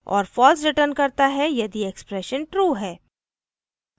* और false returns करता है यदि expression true है